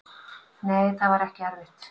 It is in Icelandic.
Nei, það var ekki erfitt.